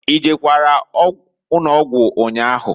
I jekwara ụnọgwụ nnyaahụ?